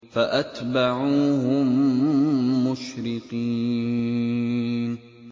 فَأَتْبَعُوهُم مُّشْرِقِينَ